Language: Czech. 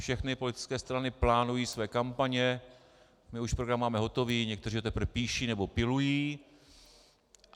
Všechny politické strany plánují své kampaně, my už program máme hotový, někteří ho teprv píší nebo pilují.